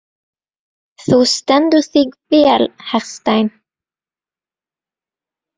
Þú stendur þig vel, Hersteinn!